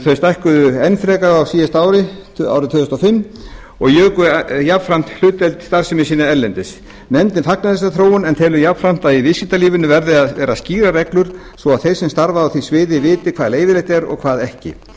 þau stækkuðu enn frekar á síðasta ári árið tvö þúsund og fimm og juku jafnframt hlutdeild starfsemi sinnar erlendis nefndin fagnar þessari þróun en telur jafn hratt að í viðskiptalífinu verði að vera skýrar reglur svo þeir sem starfa á því sviði viti hvað leyfilegt er og hvað ekki